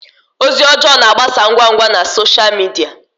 Ozi ọjọọ na-agbasa ngwa ngwa na sọsha midia.